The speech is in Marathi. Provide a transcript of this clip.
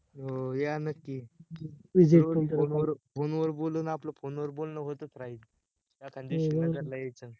हो या नक्की phone वर, phone वर बोलून आपल phone वर बोलणं होतच राहील, एका दिवशी नगर ला यायचं